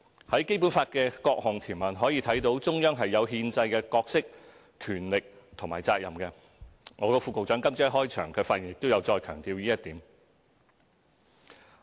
從《基本法》的各項條文可以看到，中央是有憲制的角色、權力和責任，我的副局長今早在開場發言時亦有再強調這一點。